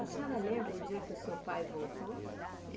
A senhora lembra o dia que o seu pai voltou?